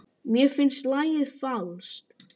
Mér finnst lagið falskt.